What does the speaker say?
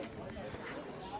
Sənə deyirəm, sən bilirsən.